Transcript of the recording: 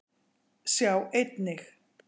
Sjá einnig: